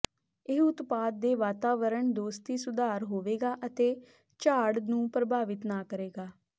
ਇਹ ਉਤਪਾਦ ਦੇ ਵਾਤਾਵਰਣ ਦੋਸਤੀ ਸੁਧਾਰ ਹੋਵੇਗਾ ਅਤੇ ਝਾੜ ਨੂੰ ਪ੍ਰਭਾਵਿਤ ਨਾ ਕਰੇਗਾ